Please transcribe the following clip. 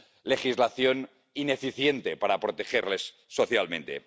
legislación ineficiente para protegerles socialmente.